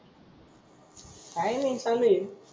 काही नाही चालू ये.